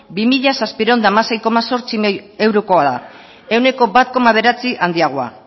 bi mila zazpiehun eta hamasei koma zortzi milioi eurokoa da ehuneko bat koma bederatzi handiagoa